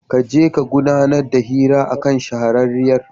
Ka je ka gudanar da hira a kan shahararriyar.